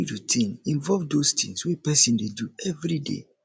routine involve those those things wey person dey do everyday